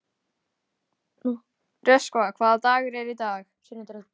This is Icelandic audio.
Röskva, hvaða dagur er í dag?